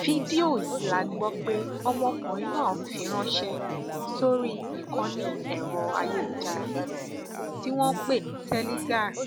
fídíò yìí la gbọ pé ọmọkùnrin náà fi ránṣẹ sórí ìkànnì ẹrọ ayélujára kan tí wọn ń pè ní teligar